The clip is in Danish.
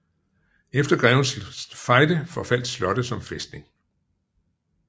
Efter Grevens Fejde forfaldt slottet som fæstning